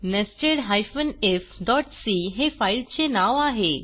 nested ifसी हे फाईलचे नाव आहे